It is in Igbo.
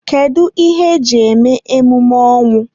Kedụ ihe eji eme emume ọnwụ?